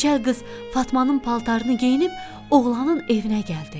Keçəl qız Fatmanın paltarını geyinib oğlanın evinə gəldi.